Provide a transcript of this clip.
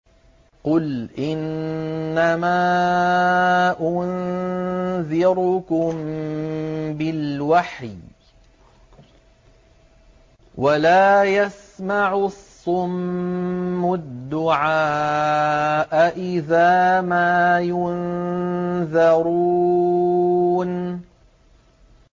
قُلْ إِنَّمَا أُنذِرُكُم بِالْوَحْيِ ۚ وَلَا يَسْمَعُ الصُّمُّ الدُّعَاءَ إِذَا مَا يُنذَرُونَ